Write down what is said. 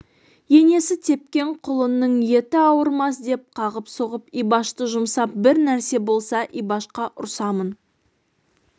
енесі тепкен құлынның еті ауырмас деп қағып-соғып ибашты жұмсап бір нәрсе болса ибашқа ұрсамын